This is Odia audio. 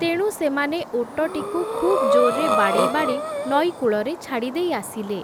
ତେଣୁ ସେମାନେ ଓଟଟିକୁ ଖୁବ୍ ଜୋର୍‌ରେ ବାଡ଼େଇ ବାଡ଼େଇ, ନଈ କୂଳରେ ଛାଡ଼ିଦେଇ ଆସିଲେ ।